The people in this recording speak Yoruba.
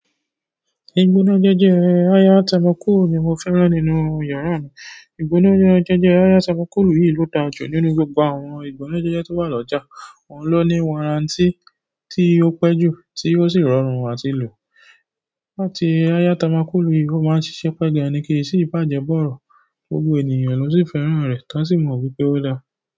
Ìgbónájẹjẹ ẹ́ ayátamókù ni mo fẹ́ràn nínú yàrá mi. Ìgbónájẹjẹ ẹ́ ayátamókùlu yìí ló da ju nínú gbogbo àwọn ìgbónájẹjẹẹ́ tó wà lọ́jà. Oun ló ní warranty tí ó pẹ́ jù tí ó sì rọrùn àti lò. Àti ayátamókùlu yìí ó máa ń ṣiṣẹ́ pẹ́gẹ́ ni kéyìí sì bàjẹ́ bọ̀rọ̀. Gbogbo ènìyàn ló sì fẹ́ràn rẹ̀ tán sì mọ̀ wípé ó dáa.